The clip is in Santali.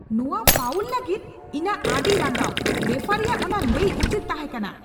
ᱱᱚᱣᱟ ᱯᱷᱟᱣᱩᱞ ᱞᱟᱹᱜᱤᱫ ᱤᱧᱟᱜ ᱟᱹᱰᱤ ᱨᱟᱸᱜᱟᱣ ! ᱨᱮᱯᱷᱟᱨᱤᱭᱟᱜ ᱚᱱᱟ ᱞᱟᱹᱭ ᱩᱪᱤᱛ ᱛᱟᱦᱮᱠᱟᱱᱟ ᱾